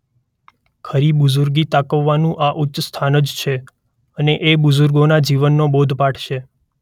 ખરી બુઝુર્ગી તકવાનું આ ઉચ્ચ સ્થાન જ છે અને એ જ બુઝુર્ગોના જીવનનો બોધપાઠ છે.